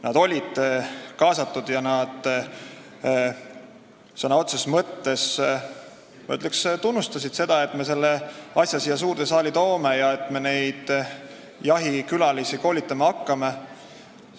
Nad olid kaasatud ja nad sõna otseses mõttes, ma ütleksin nii, tunnustasid seda, et me selle asja siia suurde saali toome ja neid jahikülalisi koolitama hakkame.